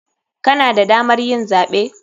Kana da damar yin zaɓe.